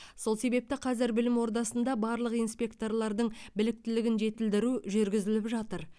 сол себепті қазір білім ордасында барлық инспектордың біліктілігін жетілдіру жүргізіліп жатыр